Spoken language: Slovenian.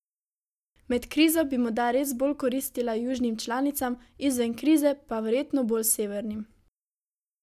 Med krizo bi morda res bolj koristila južnim članicam, izven krize pa verjetno bolj severnim.